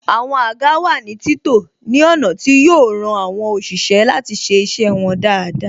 Àwọn àga wà ní títò ní ọ̀nà tí yo ran àwọn òṣìṣẹ́ láti ṣe iṣẹ́ wọn dáadáa